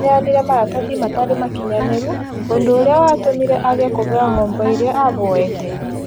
Aneanire maratathi matarĩ makinyanĩru ũndũ ũria watũmire age kũheo ngombo ĩrĩa ahoete